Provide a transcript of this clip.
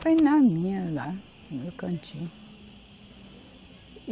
Fiquei na minha lá, no meu cantinho.